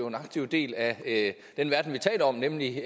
en aktiv del af den verden vi taler om nemlig